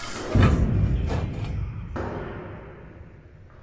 запусти фильм веселые и загорелые